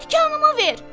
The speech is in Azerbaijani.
Tikanımı ver!